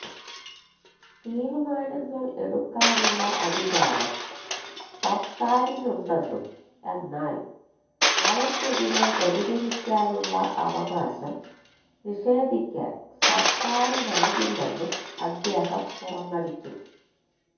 തീരുമാനങ്ങള് എടുക്കാനുള്ള അധികാരം സര്ക്കാരിനുണ്ടെന്നും എന്നാല് അവയ്ക്കെതിരെ പ്രതികരിക്കാനുള്ള അവകാശം നിഷേധിക്കാന് സര്ക്കാരിനാകില്ലെന്നും അദ്ദേഹം തുറന്നടിച്ചു